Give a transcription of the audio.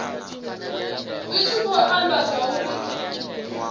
zwi tshi khou amba zwauri